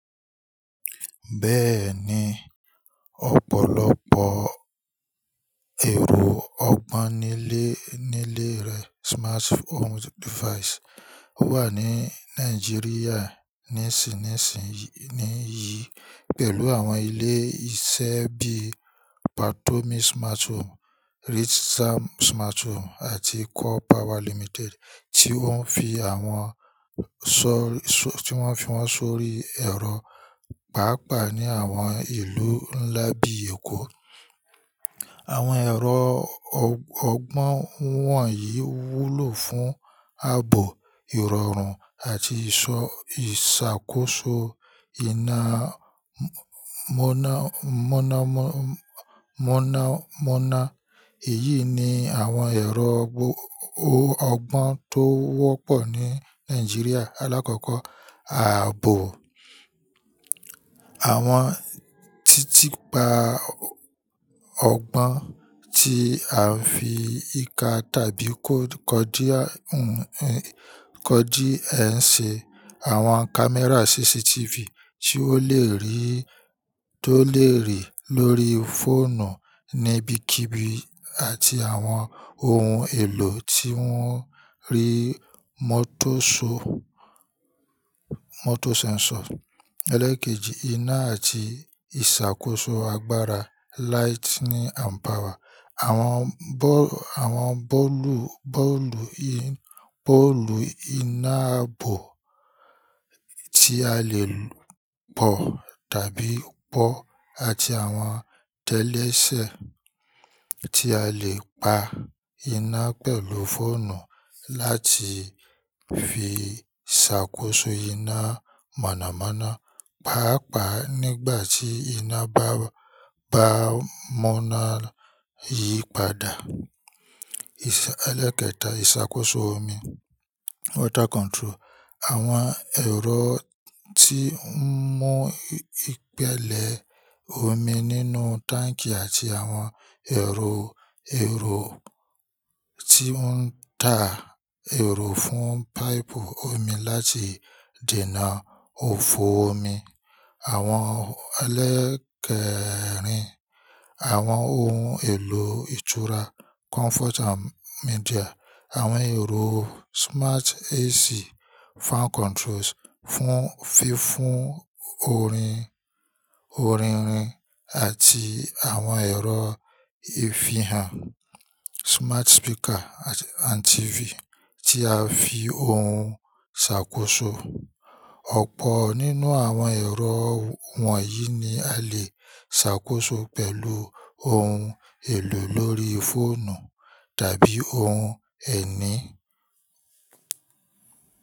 Bẹ́ẹ̀ni, ọ̀pọ̀lọpọ̀ ẹ̀rọ ọgbọ́n nílé nílé rẹ smart home device wà ní Nàìjíríà ní ìsìn yìí, pẹ̀lú àwọn ilé iṣẹ́ bí i Patomi Smart Home, Rich Sam Smart Home àti Core Power Limited tí ó ń fi wọ́n sórí ẹ̀rọ pàápàá ní àwọn ìlú ńlá bí i Èkó. Àwọn ẹ̀rọ ọgbọ́n wọ̀nyí wúlò fún ààbò, ìrọ̀rùn àti ìṣàkóso iná mọ̀nàmọ́ná. Èyí ni àwọn ẹ̀rọ ọgbọ́n tó wọ́pọ̀ ní Nàìjíríà. Alákọ̀ọ́kọ́, ààbò. Àwọn títìpa ọgbọ́n tí a fi ìka tàbí code encode ẹ ń ṣe, àwọn kámẹ́rà CCTV tí ó lè rí tó lè rí lórí fóònù níbikíbi àti àwọn ohun èlò tí wọ́n ń rí mọ́tòsọ́ mọ́tò sẹ́ńsọ̀. Eléèkejì, iná àti ìṣàkóso agbára lightning and power. Àwọn bọ́ọ̀lù, bọ́ọ̀lù iná ààbò tí a lè pọ̀ tàbí pọ́ àti àwọn télèṣẹ̀ tí a lè pa iná pẹ̀lú fóònù láti fi ṣàkóso iná mọ̀nàmọ́ná, pàápàá nígbà tí iná bá mọ̀nàmọ́ná yípadà. Ìṣẹ̀, ẹlẹ́ẹ̀kẹta, ìṣàkóso omi water control. Àwọn ẹ̀rọ tí ń mú ìpẹ̀lẹ̀ omi nínú táǹkì àti àwọn ẹ̀rọ, ẹ̀rọ tí ó ń tà èrò fún páìpù omi láti dènà òfo omi. Àwọn ẹlẹ́ẹ̀kẹrin, àwọn ohun èlò ìtura comfort and media. Àwọn ẹ̀rọ smart AC fan controls fún fífún orin, orinrin àti àwọn ẹ̀rọ ìfihàn smart speaker and TV tí a fi ohun ṣàkóso. Ọ̀pọ̀ nínú àwọn ẹ̀rọ wọ̀nyí ni a lè ṣàkóso pẹ̀lú ohun èlò lórí fóònù tàbí ohun ẹ̀ní.